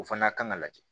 O fana kan ka lajɛ